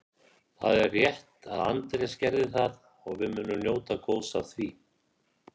Það er rétt að Andrés gerði það og við munum njóta góðs af því.